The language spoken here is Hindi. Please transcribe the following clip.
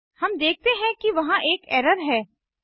हम देखते हैं कि वहां एक एरर है